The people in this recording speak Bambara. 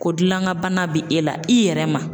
Ko gilankan bana bɛ e la i yɛrɛ ma.